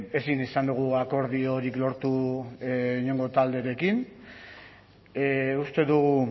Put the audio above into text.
ezin izan dugu akordiorik lortu inongo talderekin uste dugu